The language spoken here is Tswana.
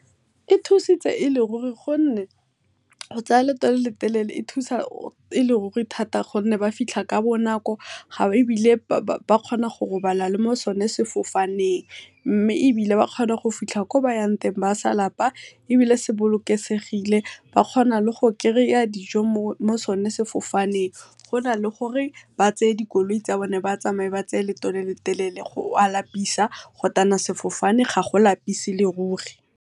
E thusitse e le ruri gonne go tsaya leeto le le telele, e thusa e le ruri thata gonne ba fitlha ka bonako, ebile ba kgona go robala le mo sone sefofaneng, mme ebile ba kgona go fitha ko ba yang teng ba sa lapa ebile se bolosekesegile. Ba kgona le go kry-a dijo mo sone sefofaneng go na le gore ba tseye dikoloi tsa bone, ba tsamaye ba tseye leeto le le telele go a lapisa go tana sefofane ga go lapise e le ruri.